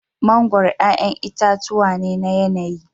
Mangoro 'ƴa'ƴan itatuwa ne na yanayi.